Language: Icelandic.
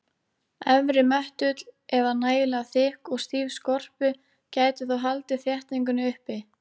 Efri möttull eða nægilega þykk og stíf skorpu gæti þó haldið þéttingunni uppi.